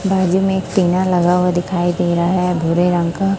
बाजू में एक लगा हुआ दिखाई दे रहा हैं भूरे रंग का।